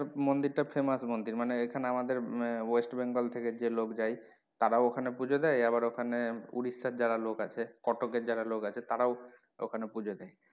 মন্দির টা famous মন্দির মানে এখানে আমাদের আহ West Bengal থেকে যে লোক যায় তারাও ওখানে পূজো দেয় আবার ওখানে ওড়িশার যারা লোক আছে কটকের যারা লোক আছে তারাও ওখানে পূজো দেয়।